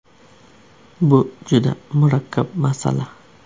Bu juda murakkab masala.